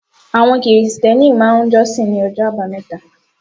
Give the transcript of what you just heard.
Àwọn Krìstẹ́nì máà ń jọ́sìn ní ọjọ́ àbámẹ́ta